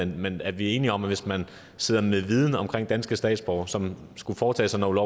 men er vi enige om at hvis med sidder med viden om danske statsborgere som skulle foretage sig noget